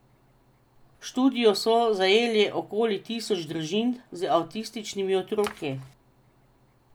V študijo so zajeli okoli tisoč družin z avtističnimi otroki.